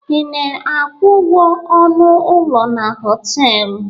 Ị na-akwụ ụgwọ ọnụ ụlọ na họtelụ?